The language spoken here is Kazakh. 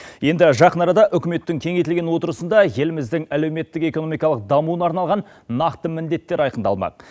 енді жақын арада үкіметтің кеңейтілген отырысында еліміздің әлеуметтік экономикалық дамуына арналған нақты міндеттер айқындалмақ